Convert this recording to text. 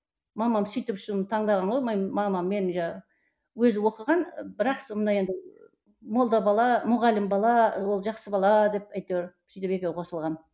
мамам сөйтіп таңдаған ғой өзі оқыған бірақ сонда енді молда бала мұғалім бала ол жақсы бала деп әйтеуір сөйтіп екеуі қосылған